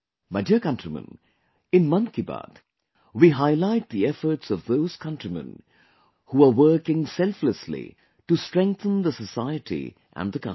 My dear countrymen, in 'Mann Ki Baat' we highlight the efforts of those countrymen who are working selflessly to strengthen the society and the country